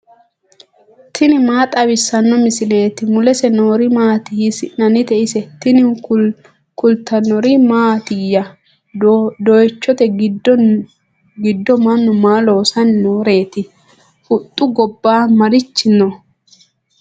tini maa xawissanno misileeti ? mulese noori maati ? hiissinannite ise ? tini kultannori mattiya? Doyiichchotte giddo mannu maa loosanni nooreetti? huxxa gobba marichi noo?